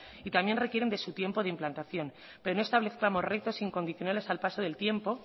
y también requieren de su tiempo de implantación pero no establezcamos retos incondicionales al paso del tiempo